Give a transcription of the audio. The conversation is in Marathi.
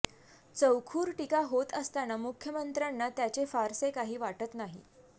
चौखुर टीका होत असताना मुख्यमंत्र्यांना त्याचे फारसे काही वाटत नाही